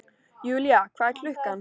Julia, hvað er klukkan?